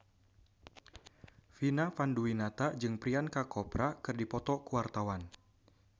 Vina Panduwinata jeung Priyanka Chopra keur dipoto ku wartawan